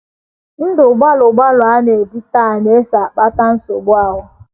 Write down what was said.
Ndụ gbalụ gbalụ a na - ebi taa na - eso akpata nsogbu ahụ.